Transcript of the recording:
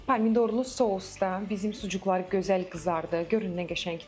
Pomidorlu sousda bizim sucuklar gözəl qızardı.